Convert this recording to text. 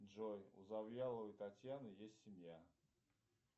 джой у завьяловой татьяны есть семья